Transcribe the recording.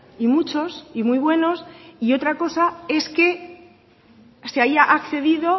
y muchos y muy buenos y otra cosa es que se haya accedido